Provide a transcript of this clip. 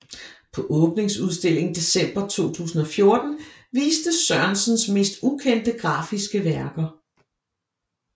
På åbningsudstillingen december 2014 vistes Sørensens mere ukendte grafiske værker